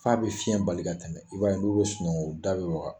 F'a be fiyɛn bali ka tɛmɛ. I b'a ye n'u be sunɔgɔ u da be waga.